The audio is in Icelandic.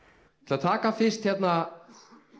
að taka fyrst þarna